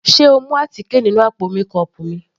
Sé o mú àtíkè nínú àpò mékọọpù mi.